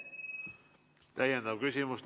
Täiendav küsimus.